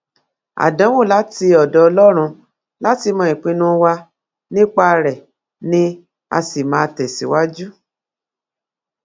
àdánwò láti ọdọ ọlọrun láti mọ ìpinnu wa nípa rẹ ni a sì máa tẹsíwájú